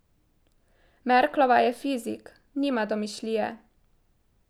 Merklova je fizik, nima domišljije.